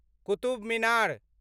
Qutub Minar